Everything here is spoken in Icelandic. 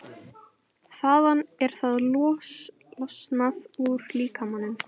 Þaðan er það losað úr líkamanum.